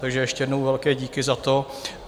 Takže ještě jednou velké díky za to.